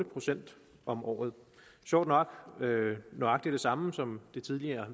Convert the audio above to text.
procent om året og sjovt nok er det nøjagtig det samme som det tidligere